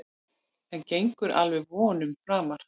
En gengur alveg vonum framar.